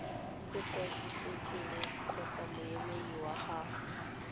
ikwadisitseng kgotsa moemedi wa gagwe